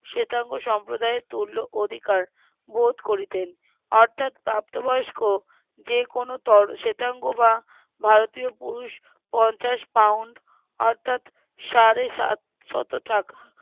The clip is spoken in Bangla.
শ্বেতাঙ্গ সম্প্রদায়ের তুল্য অধিকার বোধ করিতেন অর্থাৎ প্রাপ্ত বয়স্ক যে কোনো তোর শ্বেতাঙ্গ বা ভারতীয় পুরুষ পঞ্চাশ পাউন্ড অর্থাৎ সাড়ে সাত শত টাকা